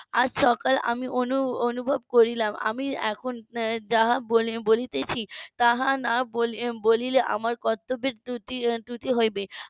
আজ সকালে আমি অনু~ অনুভব করিলাম আমি এখন যা বলেছি তাহা না বলে~ বলিলে আমার কর্তব্যের ত্রুটি ত্রুটি হইবে